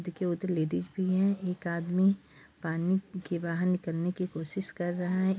देखिए उधर लेडिस भी है। एक आदमी पानी के बहार निकलने की कोशिश कर रहा है।